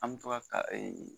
An bi to ka ee